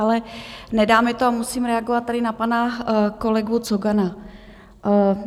Ale nedá mi to a musím reagovat tady na pana kolegu Cogana.